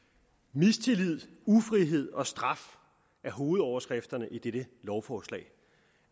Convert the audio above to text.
mistillid ufrihed og straf er hovedoverskrifterne i dette lovforslag